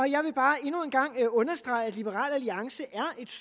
jeg vil bare endnu en gang understrege at liberal alliance